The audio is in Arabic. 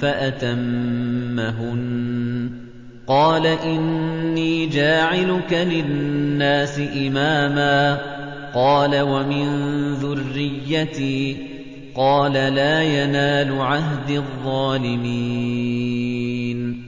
فَأَتَمَّهُنَّ ۖ قَالَ إِنِّي جَاعِلُكَ لِلنَّاسِ إِمَامًا ۖ قَالَ وَمِن ذُرِّيَّتِي ۖ قَالَ لَا يَنَالُ عَهْدِي الظَّالِمِينَ